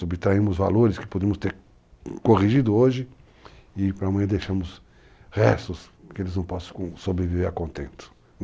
Subtraímos valores que podemos ter corrigido hoje e para amanhã deixamos restos que eles não possam sobreviver a contento.